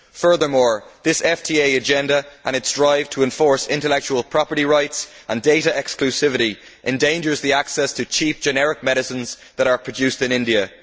Furthermore, this FTA agenda and its drive to enforce intellectual property rights and data exclusivity endangers access to cheap generic medicines that are produced in India.